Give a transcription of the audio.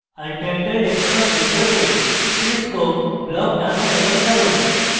untitled xcos window cscope block টানুন এবং ছাড়ুন